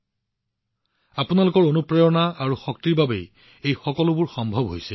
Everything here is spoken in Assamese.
এই সকলোবোৰ কেৱল আপোনালোকৰ অনুপ্ৰেৰণা আৰু শক্তিৰ বাবেহে সম্ভৱ হৈছে